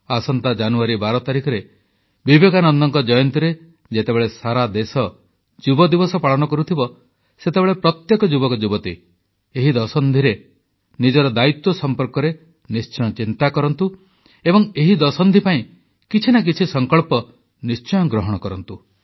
ଆସନ୍ତା ଜାନୁଆରୀ 12 ତାରିଖରେ ବିବେକାନନ୍ଦଙ୍କ ଜୟନ୍ତୀରେ ଯେତେବେଳେ ସାରା ଦେଶ ଯୁବଦିବସ ପାଳନ କରୁଥିବ ସେତେବେଳେ ପ୍ରତ୍ୟେକ ଯୁବକଯୁବତୀ ଏହି ଦଶନ୍ଧିରେ ନିଜର ଦାୟିତ୍ୱ ସମ୍ପର୍କରେ ନିଶ୍ଚୟ ଚିନ୍ତା କରନ୍ତୁ ଏବଂ ଏହି ଦଶନ୍ଧି ପାଇଁ କିଛି ନା କିଛି ସଂକଳ୍ପ ନିଶ୍ଚୟ ଗ୍ରହଣ କରନ୍ତୁ